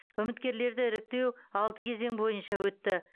үміткерлерді іріктеу алты кезең бойынша өтті